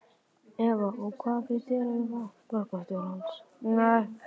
Eva: Og hvað finnst þér um þátt borgarstjórans?